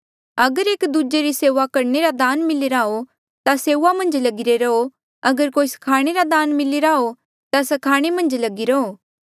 अगर एक दूजे री सेऊआ करणे रा दान मिलिरा हो ता सेऊआ मन्झ लगिरे रहो अगर कोई स्खाणे रा दान मिलिरा हो ता स्खाणे मन्झ लगिरे रहो